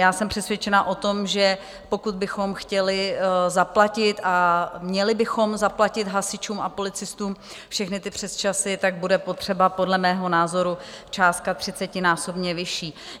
Já jsem přesvědčena o tom, že pokud bychom chtěli zaplatit a měli bychom zaplatit hasičům a policistům všechny ty přesčasy, tak bude potřeba podle mého názoru částka třicetinásobně vyšší.